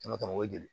o ye joli ye